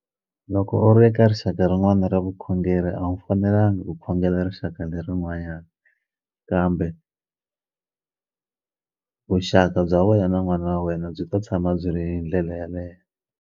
Loko u ri eka rixaka rin'wani ra vukhongeri a wu fanelanga u khongela rixaka lerin'wanyani kambe vuxaka bya wena na n'wana wa wena byi ta tshama byi ri hi ndlela yaleye.